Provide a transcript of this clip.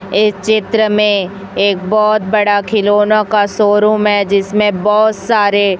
एक चित्र में एक बहोत बड़ा खिलौने का शोरूम है जिसमें बहोत सारे--